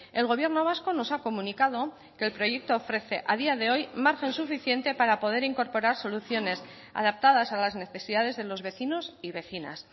el gobierno vasco nos ha comunicado que el proyecto ofrece a día de hoy margen suficiente para poder incorporar soluciones adaptadas a las necesidades de los vecinos y vecinas